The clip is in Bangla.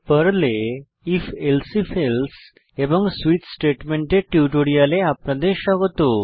পর্লে if elsif এলসে এবং সুইচ কন্ডিশনাল স্টেটমেন্টের টিউটোরিয়ালে আপনাদের স্বাগত